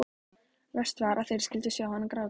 Verst var að þeir skyldu sjá hann gráta.